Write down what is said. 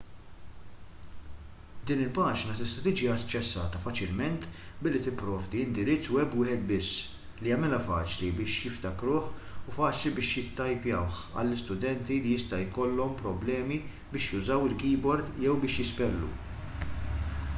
din il-paġna tista' tiġi aċċessata faċilment billi tipprovdi indirizz web wieħed biss li jagħmilha faċli biex jiftakruh u faċli biex jittajpjawh għal studenti li jista' jkollhom problemi biex jużaw il-keyboard jew biex jispellu